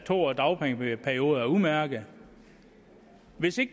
to årig dagpengeperiode er udmærket hvis det